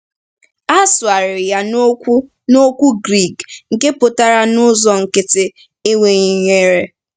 A sụgharịrị ya n’okwu n’okwu Grik nke pụtara n’ụzọ nkịtị “enweghị ihere.”